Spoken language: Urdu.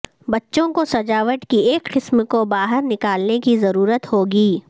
بچوں کو سجاوٹ کی ایک قسم کو باہر نکالنے کی ضرورت ہوگی